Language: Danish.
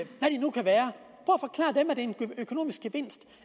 en økonomisk gevinst